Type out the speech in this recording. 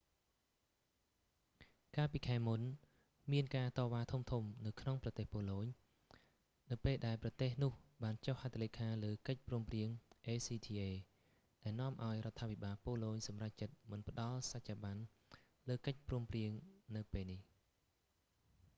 កាលពីខែមុន មានការតវ៉ាធំៗនៅក្នុងប្រទេស ប៉ូឡូញ នៅពេលដែលប្រទេសនោះបានចុះហត្ថលេខាលើកិច្ចព្រមព្រៀង acta ដែលនាំឱ្យរដ្ឋាភិបាលប៉ូឡូញសម្រេចចិត្តមិនផ្តល់សច្ចាប័នលើកិច្ចព្រមព្រៀងនៅពេលនេះ